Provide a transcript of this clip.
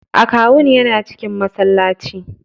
Akawun yana cikin masallaci.